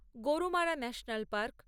Gorumara national park